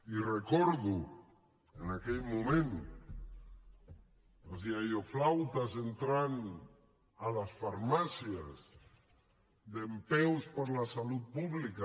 i recordo en aquell moment els iaioflautes entrant a les farmàcies dempeus per la salut pública